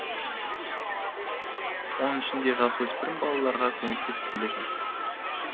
оның ішінде жасөспірім балаларға көмектесіп келе жатырмыз